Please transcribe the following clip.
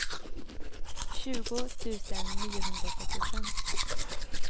tjugo tusen niohundratrettiofem